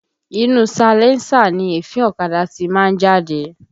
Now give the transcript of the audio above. Inú salẹńsà ni èéfín ọ̀kadà ti máa ń jáde